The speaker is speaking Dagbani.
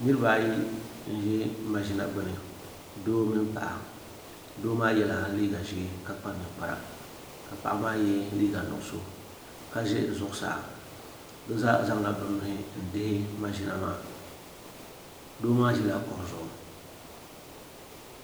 niraba ayi n ʒi mashina gbuni doo mini paɣa doo maa yɛla liiga ʒiɛ ka kpa ninkpara ka paɣa maa yɛ liiga nuɣso ka ʒi zuɣusaa bi zaa zaŋla bi nuhi m dihi mashina maa doo maa ʒila kuɣu zuɣu